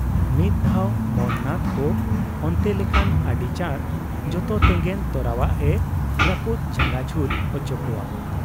ᱢᱤᱫ ᱫᱷᱟᱣ ᱢᱚᱱ ᱱᱟᱛᱷ ᱠᱚ ᱚᱱᱛᱮ ᱞᱮᱠᱷᱟᱱ ᱟᱹᱰᱤ ᱪᱟᱸᱰ ᱡᱚᱛᱚ ᱛᱮᱸᱜᱮᱱ ᱛᱚᱨᱟᱣᱟᱜ ᱮ ᱨᱟᱹᱯᱩᱫ ᱡᱷᱟᱸᱜᱟ ᱡᱷᱩᱞ ᱚᱪᱚ ᱠᱚᱣᱟ ᱾